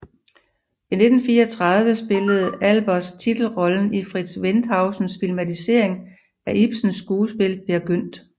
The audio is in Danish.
I 1934 spillede Albers titelrollen i Fritz Wendhausens filmatisering af Ibsens skuespil Peer Gynt